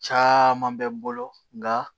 Caaman be n bolo nka